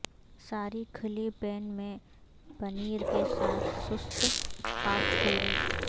ساری کھلی پین میں پنیر کے ساتھ سست خاکپوری